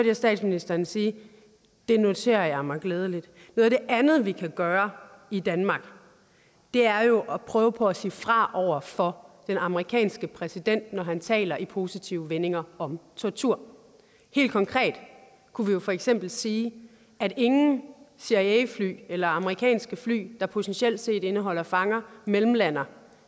jeg statsministeren sige og det noterer jeg med glæde noget af det andet vi kan gøre i danmark er jo at prøve på at sige fra over for den amerikanske præsident når han taler i positive vendinger om tortur helt konkret kunne vi jo for eksempel sige at ingen cia fly eller amerikanske fly der potentielt set indeholder fanger mellemlander